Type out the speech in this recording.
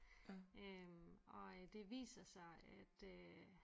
Øh og øh det viser sig at øh